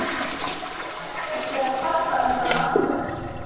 Ég vil helst ekki vera að kvarta undan aðstæðum.